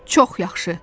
Çox yaxşı.